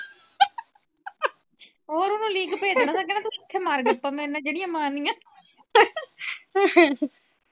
ਇੱਥੇ ਮਾਰ ਗੱਪਾਂ ਮੇਰੇ ਨਾ ਜਿਹੜੀਆਂ ਮਾਰਨੀਆਂ